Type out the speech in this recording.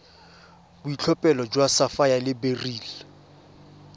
boitlhophelo jwa sapphire le beryl